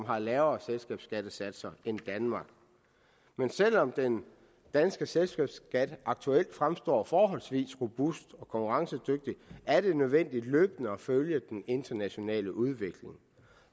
har lavere selskabsskattesatser end danmark men selv om den danske selskabsskat aktuelt fremstår forholdsvis robust og konkurrencedygtig er det nødvendigt løbende at følge den internationale udvikling